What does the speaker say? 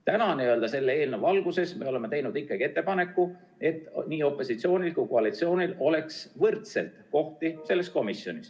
Täna, selle eelnõu valguses me oleme teinud ikkagi ettepaneku, et opositsioonil ja koalitsioonil oleks komisjonis võrdselt kohti.